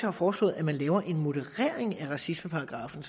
har foreslået at man laver en moderering af racismeparagraffen